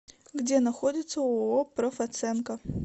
где находится ооо профоценка